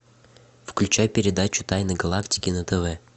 включай передачу тайны галактики на тв